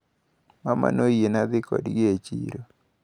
Mama noyiena dhi kodgi e chiro.